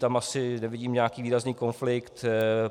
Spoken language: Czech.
Tam asi nevidím nějaký výrazný konflikt.